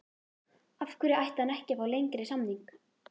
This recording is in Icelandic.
Af hverju ætti hann ekki að fá lengri samning?